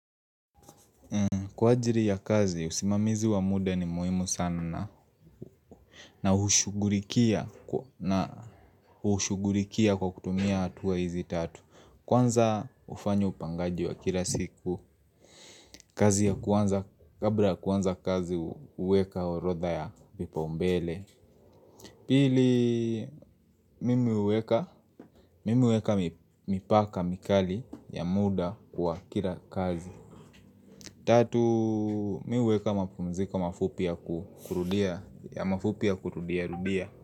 Kwa ajili ya kazi, usimamizi wa muda ni muhimu sana na ushugulikia kwa kutumia hatua hizi tatu Kwanza hufanya upangaji wa kila siku, kazi ya kwanza, kabla kuanza kazi huweka orodha ya vipaumbele Pili, mimi huweka, mimi huweka mipaka mikali ya muda kwa kila kazi Tatu, mimi huweka mapumziko mafupi ya kurudia, ya mafupi ya kurudia, rudia.